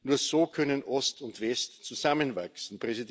Nur so können Ost und West zusammenwachsen.